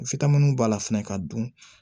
b'a la fɛnɛ ka dun